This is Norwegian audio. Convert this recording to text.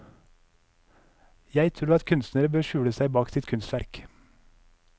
Jeg tror at kunstnere bør skule seg bak sitt kunstverk.